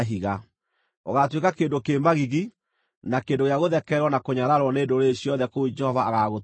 Ũgaatuĩka kĩndũ kĩ magigi, na kĩndũ gĩa gũthekererwo na kũnyararwo nĩ ndũrĩrĩ ciothe kũu Jehova agaagũtwara.